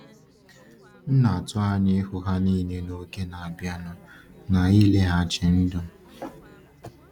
M na-atụ anya ịhụ ha niile n’oge na-abịanụ n’ịlịghachi ndụ.